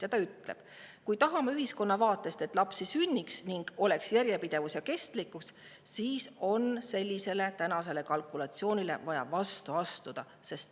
Ta on öelnud: "Kui tahame ühiskonna vaatest, et lapsi sünniks ning oleks järjepidevus ja kestlikkus, siis on vaja sellele kalkulatsioonile vastu astuda.